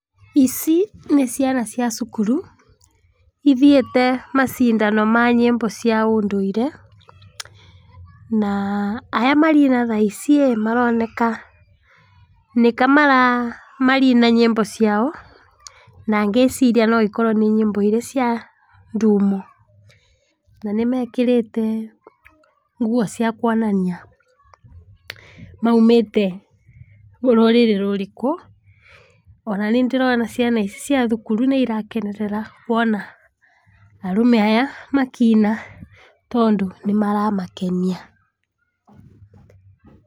Ici nĩ ciana cia cukuru, ithiĩte macindano ma nyimbo cia ũndũire, na arĩa maraona thaa ici maroneka nĩka maraina nyĩmbo ciao na ngĩciria okorwa nĩ nyĩmbo iria cia ndumo, na nĩ mekĩrĩte nguo cia kuonania maũmĩte rũrĩrĩ rũrĩkũ, ona niĩ nĩ ndĩrona ciana ici cia thukuru nĩirakenerera kuona arũme aya makĩina tondũ nĩ maramakenia.